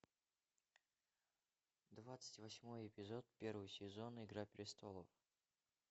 двадцать восьмой эпизод первый сезон игра престолов